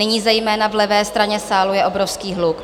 Nyní zejména v levé straně sálu je obrovský hluk.